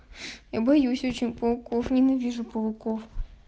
я боюсь очень пауков ненавижу пауков